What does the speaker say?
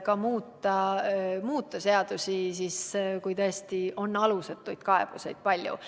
seadusi muuta, juhul kui tõesti on alusetuid kaebusi palju.